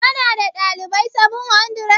Ka na da dalibai 700?